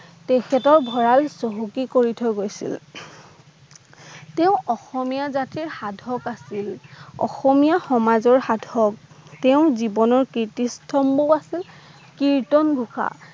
তেখেতৰ ভৰাল চহকী কৰি থৈ গৈছিল তেওঁ অসমীয়া জাতিৰ সাধক আছিল অসমীয়া সমাজৰ সাধক, তেওঁ জীৱনৰ প্ৰীতিস্তম্ভও আছিল। কীৰ্তন ঘোষা